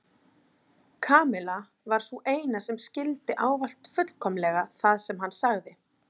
Kamilla var sú eina sem skildi ávallt fullkomlega það sem hann sagði.